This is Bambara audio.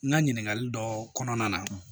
N ka ɲininkali dɔ kɔnɔna na